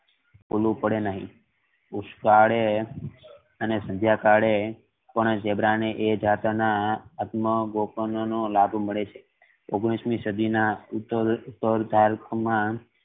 પડે નહિ સંધિયા કાળે પણ ઝીબ્રા ને એ જાત ના આત્મ નો લાભ મળે છે અને ઓગણીસ મી સદી ના ઉપર ના